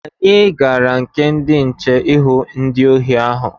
Anyị gara na nke ndị nche ịhụ ndị ohi ahụ.